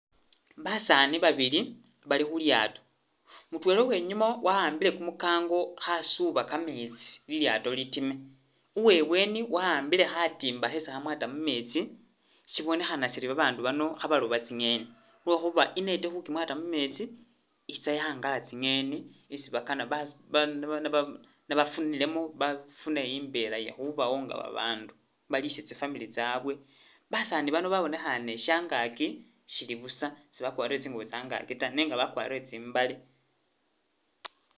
Basani babili bali khulyato mutwela uwenyuma waambile kumukango khasuba kametsi lilyato litime uwebweni waambile khatimba khesi khamwata mumetsi. Sibonekhana Siri babandu bano khabaloba tsi'ngeni lwekhuba i'net khukimwata mumetsi itsa yagala tsi'ngeni isi bakana ba ba nebafunilemo nebbafune imbela yekhubawo nga bandu balise tsi'family tsabwe, basani bano babonekhane nga shangaki bali buusa sibakwarile tsingubo tsangaki tawe nenga bakwarire tsimbale